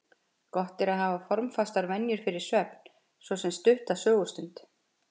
Gott er að hafa formfastar venjur fyrir svefn, svo sem stutta sögustund.